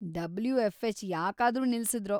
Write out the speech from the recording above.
WFH. ಯಾಕಾದ್ರೂ ನಿಲ್ಸಿದ್ರೋ?